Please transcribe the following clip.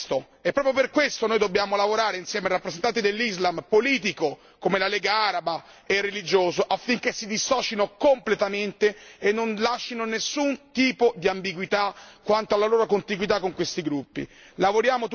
Daesh usa la religione come pretesto e proprio per questo noi dobbiamo lavorare insieme ai rappresentanti dell'islam politico, come la Lega araba, e religioso, affinché si dissocino completamente e non lascino nessun tipo di ambiguità quanto alla loro contiguità con questi gruppi.